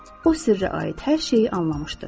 O sirrə aid hər şeyi anlamışdı.